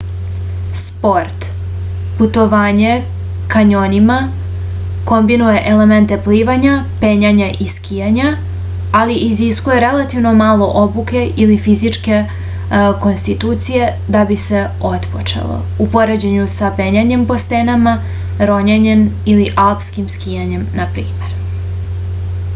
спорт - путовање кањонима комбинује елементе пливања пењања и скакања - али изискује релативно мало обуке или физичке конституције да би се отпочело у поређењу са пењањем по стенама роњењем или алспким скијањем на пример